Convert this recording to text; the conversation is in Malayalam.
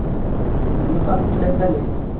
ഇന്ന് first leg അല്ലെ